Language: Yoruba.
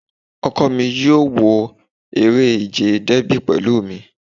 Ọkọ mi yóò wo eré ìje Dẹ́bì pẹ̀lú mi